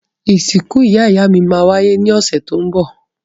Ìsìkú ìyá-ìyámí má wáyé ni ọ̀sẹ̀ to n bọ̀